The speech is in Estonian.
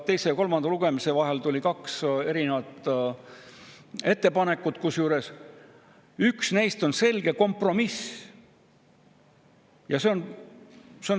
Teise ja kolmanda lugemise vahel tuli kaks erinevat ettepanekut, kusjuures üks neist on selge kompromiss.